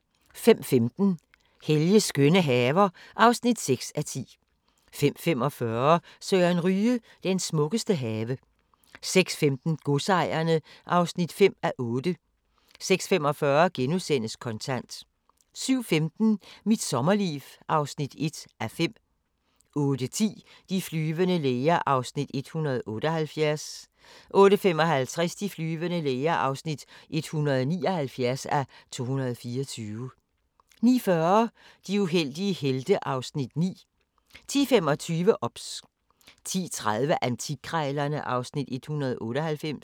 05:15: Helges skønne haver (6:10) 05:45: Søren Ryge – den smukkeste have 06:15: Godsejerne (5:8) 06:45: Kontant * 07:15: Mit sommerliv (1:5) 08:10: De flyvende læger (178:224) 08:55: De flyvende læger (179:224) 09:40: De uheldige helte (Afs. 9) 10:25: OBS 10:30: Antikkrejlerne (Afs. 198)